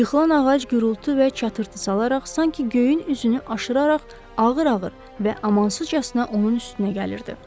Yıxılan ağac gurultu və çatırtı salaraq sanki göyün üzünü aşıraraq ağır-ağır və amansızcasına onun üstünə gəlirdi.